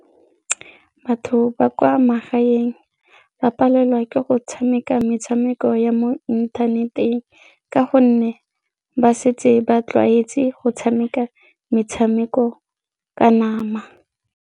Batho ba kwa magaeng ba palelwa ke go tshameka metshameko ya mo inthaneteng ka gonne ba setse ba tlwaetse go tshameka metshameko ka nama.